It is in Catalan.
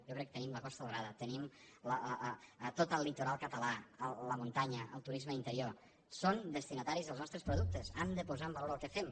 jo crec que tenim la costa daurada tenim tot el litoral català la muntanya el turisme d’interior són destinataris dels nostres productes han de posar en valor el que fem